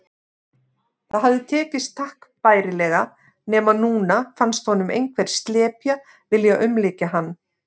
Það hafði tekist takk bærilega, nema núna fannst honum einhver slepja vilja umlykja hann.